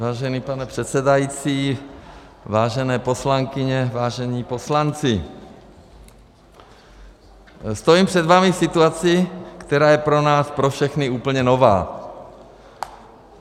Vážený pane předsedající, vážené poslankyně, vážení poslanci, stojím před vámi v situaci, která je pro nás pro všechny úplně nová.